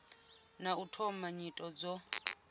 na u thoma nyito dzo